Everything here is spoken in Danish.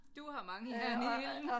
Du har mange jern i ilden